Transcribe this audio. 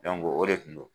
o de tun don